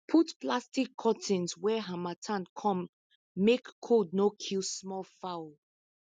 put plastic curtain when harmattan come make cold no kill small fowl